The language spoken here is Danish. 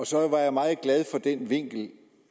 så var jeg meget glad for den vinkel